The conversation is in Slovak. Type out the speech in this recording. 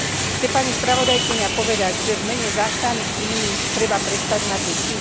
Chce pani spravodajkyňa povedať, že v mene záchrany klímy treba prestať mať deti?